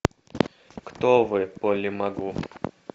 кто вы полли магу